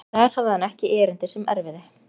En þar hafði hann ekki erindi sem erfiði.